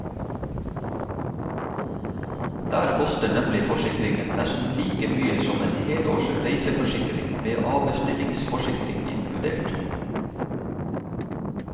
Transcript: Der koster nemlig forsikringen nesten like mye som en helårs reiseforsikring med avbestillingsforsikring inkludert.